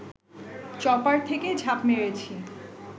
chopper থেকে ঝাঁপ মেরেছি